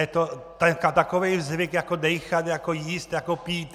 Je to takový zvyk jako dýchat, jako jíst, jako pít.